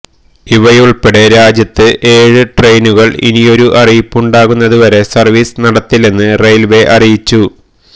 ഇവയുൾപ്പെടെ രാജ്യത്ത് ഏഴ് ട്രെയിനുകൾ ഇനിയൊരു അറിയിപ്പുണ്ടാകുന്നതുവരെ സർവീസ് നടത്തില്ലെന്ന് റെയിൽവേ അറിയിച്ചു